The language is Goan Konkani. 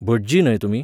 भटजी न्हय तुमी?